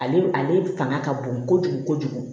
Ale ale fanga ka bon kojugu kojugu